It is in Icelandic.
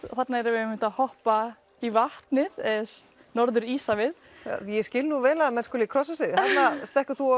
þarna erum við að hoppa í vatnið Norður Íshafið ég skil vel að menn krossa sig þarna stekkur þú